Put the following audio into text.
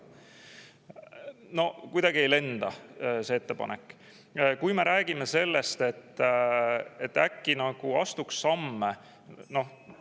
No kuidagi ei lenda see ettepanek, kui me räägime sellest, et et äkki nagu astuks samme!